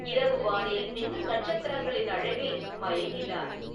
இரவு வானில் மின்னும் நட்சத்திரங்களின் அழகில் மயங்கினார்.